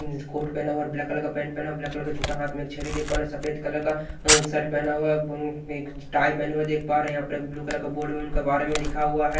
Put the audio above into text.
Coat पहना हुआ है ब्लैक कलर का पेंट पहना ब्लैक कलर का जूता हाथ में एक छहरी देख पा रहे हैं सफेद कलर का अ व् शर्ट पहना हुआ है एक टाई पहना हुआ है देख पा रहे हैं यहां पर एक ब्लू कलर का बोर्ड में उनके बारे में लिखा हुआ है।